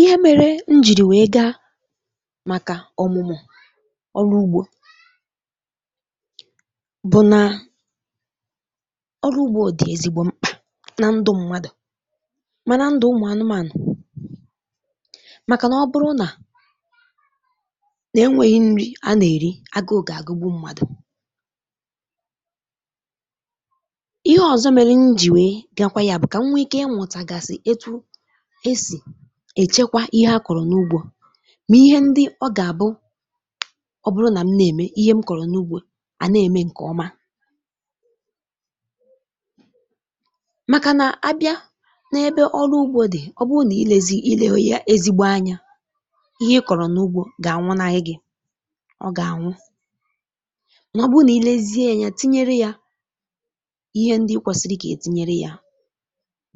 Ihe mere njìrì wèe gaa màkà ọmụmụ ọrụ ugbọ bụ nà ọrụ ugbọ dị ezigbo mkpa na ndụ mmadụ màna ndụ ụmụ anụmanụ màkà nà ọ bụrụ nà na-enweghị nri a nà-èri, agụụ ga-àgụgbụ mmadụ. Ihe ọzọ mèrè njì wèe bịakwa ya bụ kà m nwee ike ịmutagasị etu esi èchekwa ihe a kọrọ n’ugbọ mà ihe ndị ọ gà-àbụ ọ bụrụ nà m nà-ème ihe m kọrọ n’ugbọ à nà-ème ǹkè ọma màkà nà-abịa n’ebe ọrụ ugbọ dị, ọ bụ nà ilezi, ileghọ ya ezigbo anya, ihe ịkọrọ n’ugbọ gà-ànwụnaghị gị; ọ gà-ànwụ mà ọ bụ nà ilezie anya tinyere ya ihe ndị ikwèsìrì kà etinyere ya,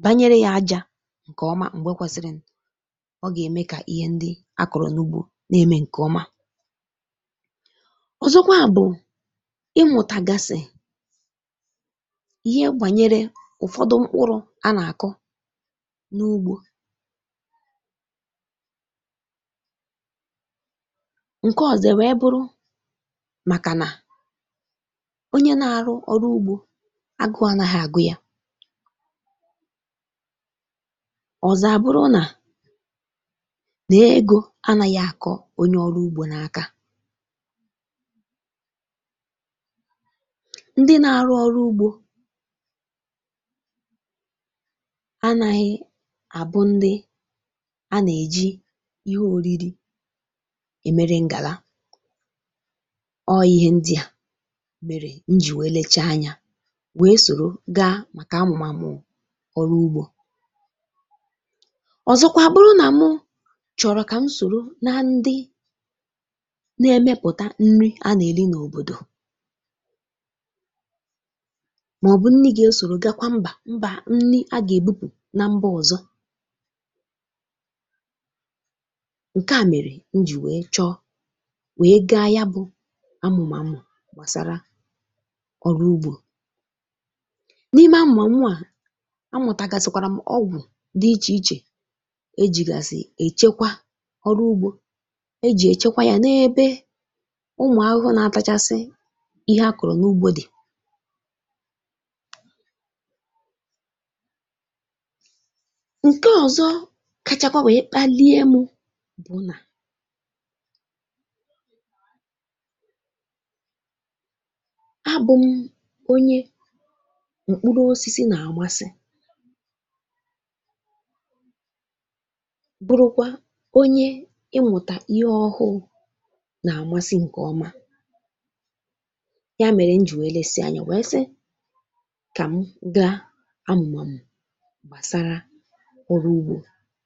banyere ya ajà ǹkè ọma mgbe kwesirini, ọ gà-ème kà ihe ndị akọrọ n’ugbọ na-eme ǹkè ọma. Ọzọkwa bụ ịmụtagasị ihe gbànyere ụfọdụ mkpụrụ a nà-akọ n’ugbọ. Ǹkè ọzọ wee bụrụ màkà nà onye na-arụ ọrụ ugbọ agụ anagha àgụ ya, ọzọ a bụrụ nà-egọ anaghị akọ onye ọrụ ugbọ n’aka. Ndị na-àrụ ọrụ ugbọ anaghị a bụ ndị a na-eji ihe oriri emere ngala, ọ ihe ndị a mere nji wee lecha anya wee sọrọ ga maka amụmàmụ ọrụ ugbọ. Ọzọkwa a bụrụ nà mụ chọrọ kà m sòro na ndị na-èmepụta nri a nà-èli n’òbòdò, maọbụ nnị ga-esọrọ gakwa mba mba nnị a ga-ebupu na mba ọzọ, nke a mere nji wee chọọ wee ga yabụ amumamu gbasara ọrụ ugbọ. N'ime amumamu a amutagasikwara m ọgwụ dị iche iche ejìgasi èchekwa ọrụ ugbọ, ejì èchekwa ya n’ebe ụmụ ahụhụ nà-atachasị ihe a kọrọ n’ugbọ dị. Ǹkè ọzọ kachakwa wèe kpalie mụ bụ nà abụm onye mkpụrụ osisi nà-àmasị bụrụkwa onye ị mụta ihe ọhụụ nà-àmasị ǹkè ọma. Ya mèrè m ji wee lèsi anya wèe sị kà m gaa amụmàmụ gbàsara ọrụ ugbọ,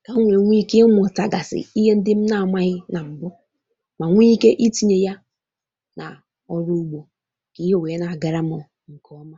kà nwè nwee ike ịmụtagàsị ihe ndị m na-amaghị nà m̀bu mà nwee ike itinye ya nà ọrụ ugbọ kà ihe nwèe na-agara m ǹkè ọma.